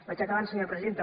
vaig acabant senyora presidenta